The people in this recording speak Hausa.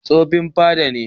Tsofin fada ne.